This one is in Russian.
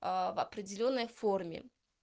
определённой форме